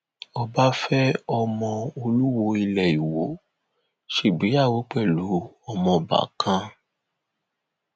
ọba fẹ ọmọọ olùwòo ilé ìwọ ṣègbéyàwó pẹlú ọmọọba kán